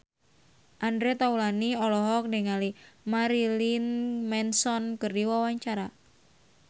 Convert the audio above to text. Andre Taulany olohok ningali Marilyn Manson keur diwawancara